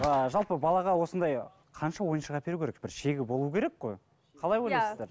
ыыы жалпы балаға осындай қанша ойыншық әперу керек бір шегі болу керек қой қалай ойлайсыздар